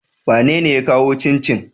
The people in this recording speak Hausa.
Wanene ya kawo cincin?